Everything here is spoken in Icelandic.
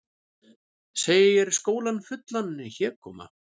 Segir skólann fullan hégóma